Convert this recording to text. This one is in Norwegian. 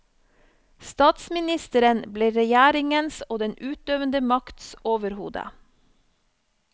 Statsministeren ble regjeringens og den utøvende makts overhode.